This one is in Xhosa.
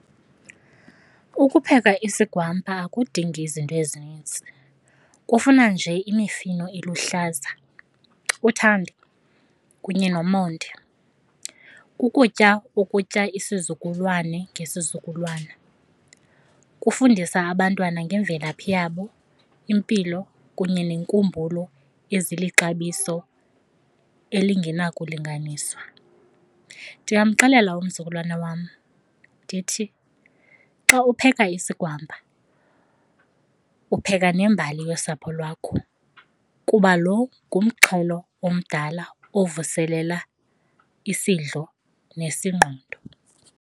Ukupheka isigwampa akudingi izinto ezinintsi, kufuna nje imifino eluhlaza, uthando kunye nomonde. Kukutya okutya isizukulwane ngesizukulwana. Kufundisa abantwana ngemvelaphi yabo, impilo kunye neenkumbulo ezilixabiso elingenakulinganiswa. Ndingamxelela umzukulwana wam ndithi, xa upheka isigwampa upheka nembali yosapho lwakho kuba lo ngumxhelo omdala ovuselela isidlo nesingqondo.